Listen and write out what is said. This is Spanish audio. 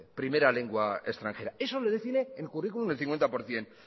primera lengua extranjera eso lo define el currículum el cincuenta por ciento